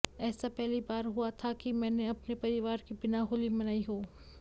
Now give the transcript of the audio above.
ऐसा पहली बार हुआ था कि मैंने अपने परिवार के बिना होली मनाई हो